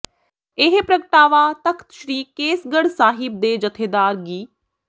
ਇਹ ਪ੍ਰਗਟਾਵਾ ਤਖਤ ਸ੍ਰੀ ਕੇਸਗੜ੍ਹ ਸਾਹਿਬ ਦੇ ਜਥੇਦਾਰ ਗਿ